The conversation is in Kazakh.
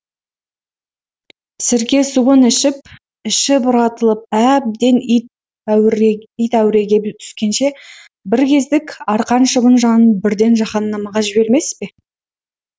сіркесуын ішіп іші бұратылып әбден ит әуіреге түскенше бір кездік арқан шыбын жанын бірден жаһанамға жібермес пе